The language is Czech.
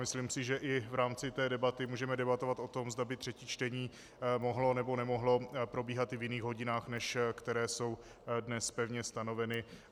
Myslím si, že i v rámci té debaty můžeme debatovat o tom, zda by třetí čtení mohlo nebo nemohlo probíhat i v jiných hodinách, než které jsou dnes pevně stanoveny.